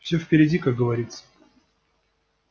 всё впереди как говорится